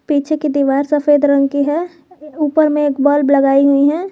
पीछे की दीवार सफेद रंग की है ऊपर में एक बल्ब लगाई हुई हैं।